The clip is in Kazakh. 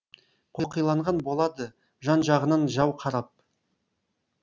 қоқиланған болады жан жағынан жау қарап